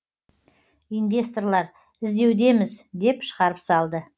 инвесторлар іздеудеміз деп шығарып салды